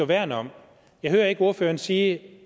værne om jeg hører ikke ordføreren sige